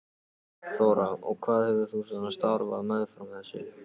Þóra: Og hvað hefur þú svona starfað meðfram þessu?